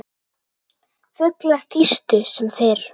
Fuglar tístu sem fyrr.